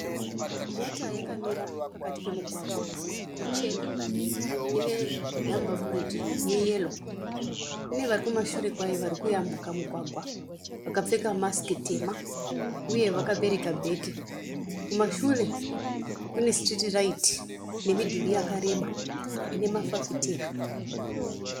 Mota yakamira pakati pemugwagwa ichena ine nhamba bhuredhi yeyero. Kune varikumashure kwayo varikuyambuka mugwagwa vakapfeka mask tema uye vakabereka bheke kumashure kune street light nemidhure yakareba unemafafitera.